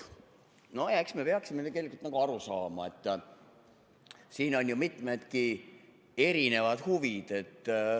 Nojah, eks me peaksime tegelikult aru saama, et siin on ju mitmedki erinevad huvid.